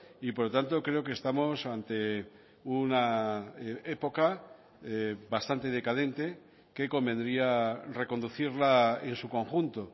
y por lo tanto creo que estamos ante una época bastante decadente que convendría reconducirla en su conjunto